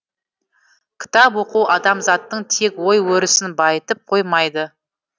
кітап оқу адамзаттың тек ой өрісін байытып қоймайды